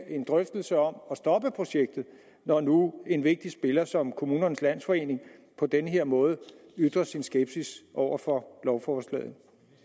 en drøftelse om at stoppe projektet når nu en vigtig spiller som kommunernes landsforening på den her måde ytrer sin skepsis over for lovforslagene